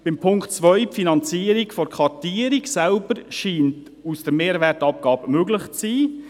Den Punkt 2, die Finanzierung der Kartierung, scheint aus der Mehrwertabgabe möglich zu sein.